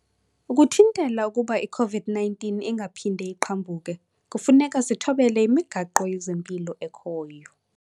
Ukuthintela ukuba i-COVID-19 ingaphindi iqhambuke, kufuneka sithobele imigaqo yezempilo ekhoyo.